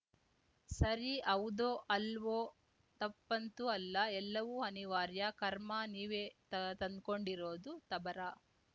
ಸರಿ ಹೌದೋ ಅಲ್ವೋ ತಪ್ಪಂತೂ ಅಲ್ಲ ಎಲ್ಲವೂ ಅನಿವಾರ್ಯ ಕರ್ಮ ನೀವೇ ತ ತಂದ್ಕೊಂಡಿರೋದು ತಬರ